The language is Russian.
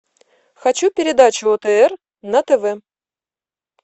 хочу передачу отр на тв